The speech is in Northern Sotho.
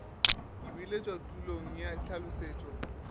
ka biletšwa tulong ya tlhalošetšo